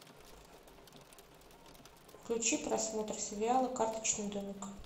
включи просмотр сериала карточный домик